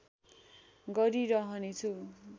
गरी रहने छु